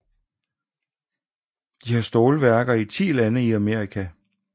De har stålværker i 10 lande i Amerika